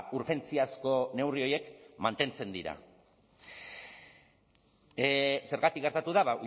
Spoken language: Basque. urgentziazko neurri horiek mantentzen dira zergatik gertatu da